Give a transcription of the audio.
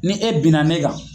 Ni e bi na ne kan.